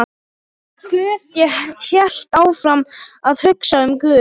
Og guð, ég hélt áfram að hugsa um guð.